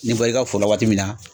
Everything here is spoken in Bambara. N'i bɔr'i ka foro la waati min na